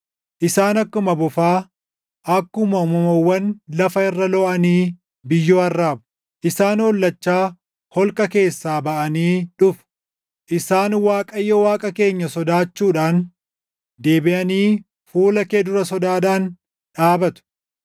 Isaan akkuma bofaa, akkuma uumamawwan lafa irra looʼanii biyyoo arraabu. Isaan hollachaa holqa keessaa baʼanii dhufu; Isaan Waaqayyo Waaqa keenya sodaachuudhaan deebiʼanii fuula kee dura sodaadhaan dhaabatu.